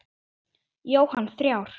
Jóhann: Þrjár?